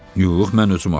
Yox, mən özüm açdım.